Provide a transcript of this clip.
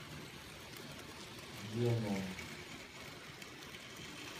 веном